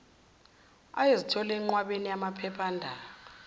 ayezithola enqwabeni yamaphephandaba